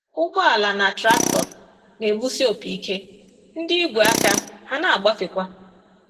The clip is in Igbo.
Ụgbọala na traktọ na-egbusi opi ike, ndị ígwè aka a na-agbafekwa.